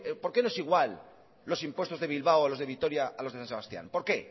por qué nos igual los impuestos de bilbao o los de vitoria a los de san sebastián